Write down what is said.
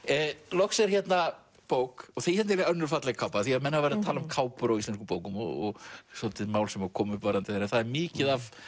loks er hérna bók og hérna er önnur falleg kápa því menn hafa verið að tala um kápur á íslenskum bókum og svolítið mál sem kom upp varðandi það en það er mikið af